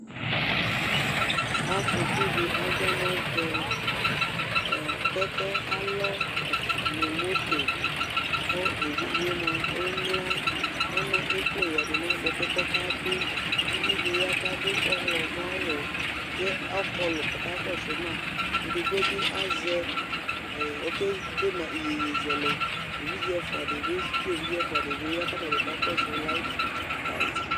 Afokʋ dɩ adzɔ nʋ ɛvɛ Ɔɔ kɛkɛ alɔ nʋ moto kʋ evidze yɛ mʋa emlǝ, kʋ ɔna ekple yǝdʋ nʋ adʋkʋ kʋ ɔkabɩ, kʋ uvi dɩ ya kʋ adʋ ɔɣlɔmɔ aɣu kʋ ɔkɔlʋ kʋ ɔka kɔsʋ ma Edigbo bɩ azɛ ɛɛ okede ma iyeyezɛlɛ, kʋ evidze ɛfʋa dɩnɩ bɩ ya kʋ atabɩ ka kɔsʋ layitɩ